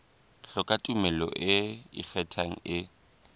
hloka tumello e ikgethang e